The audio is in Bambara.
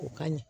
O ka ɲi